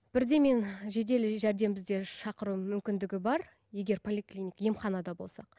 бірден мен жедел жәрдем бізде шақыру мүмкіндігі бар егер емханада болсақ